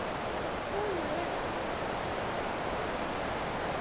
Hvaða kona er þetta?